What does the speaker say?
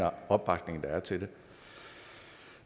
opbakning der er til det